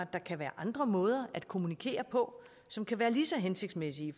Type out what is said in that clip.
der kan være andre måder at kommunikere på som kan være lige så hensigtsmæssige